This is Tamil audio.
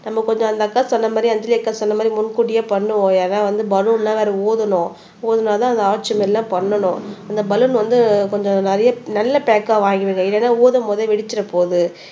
நம்ப கொஞ்சம் அந்த அக்கா சொன்ன மாதிரி அஞ்சலி அக்கா சொன்ன மாதிரி முன் கூட்டியே பண்ணுவோம் ஏன்னா வந்து பலூன்லாம் வேற ஊதணும் ஊதுனாதான் அந்த ஆர்ச் மாரியெல்லாம் பண்ணணும் அந்த பலூன் வந்து கொஞ்சம் நிறைய நல்ல பேக்கா வாங்கிடுங்க இல்லைன்னா ஊதும் போதே வெடிச்சிட போகுது